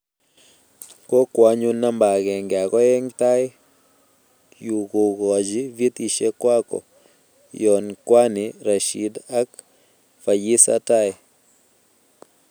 kokwa anyun namba akenge ak oeng tai yu kokoji vyetishe kwako, yon kwanii Rashid ak Fasiya tai